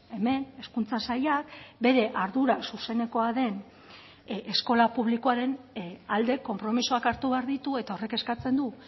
hemen hezkuntza sailak bere ardura zuzenekoa den eskola publikoaren alde konpromisoak hartu behar ditu eta horrek eskatzen du